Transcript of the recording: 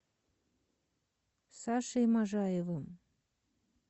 сашей можаевым